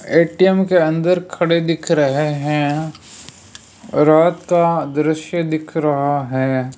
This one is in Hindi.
ए_टी_एम के अंदर खड़े दिख रहे हैं रात का दृश्य दिख रहा है।